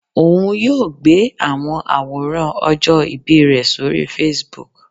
Oun yoo gbe awọn aworan ọjọ ibi rẹ sori Facebook.